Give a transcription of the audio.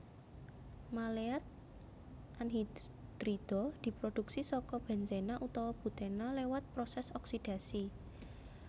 Maleat anhidrida diproduksi saka benzena utawa butena lewat prosès oksidasi